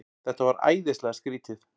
Þetta var æðislega skrýtið.